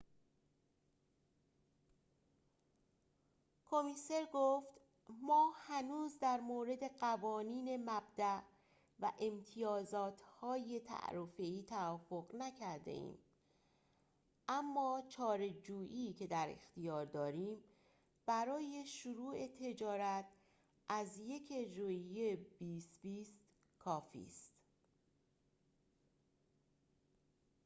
کمیسر گفت ما هنوز در مورد قوانین مبداء و امتیازات تعرفه‌ای توافق نکرده‌ایم اما چارچوبی که در اختیار داریم برای شروع تجارت از ۱ ژوئیه ۲۰۲۰ کافی است